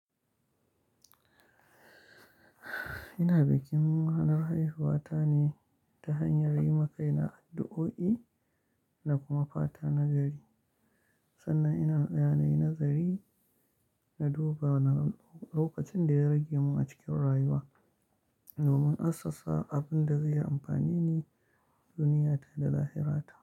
Ina bikin ranar haihuwata ne ta hanyar yima kaina addu'o'i da kuma fata na gari. Sannan ina tsayawa nayi nazari na duba wane na lokacin da ya rage mun a cikin rayuwa domin asasa abin da zai yi amfani ne duniyata da zahirata.